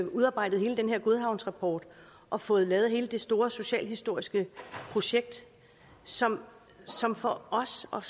udarbejdet hele den her godhavnsrapport og fået lavet hele det store socialhistoriske projekt som som for os og